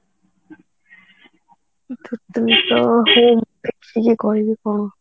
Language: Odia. actually କହିବି କଣ